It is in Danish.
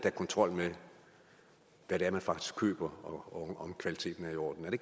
er kontrol med hvad man faktisk køber og om kvaliteten er i orden er det